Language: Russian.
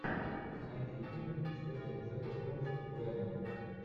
найди фильм с кэтрин зета джонс веном